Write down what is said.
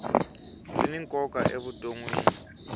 byi ni nkoka evutonwini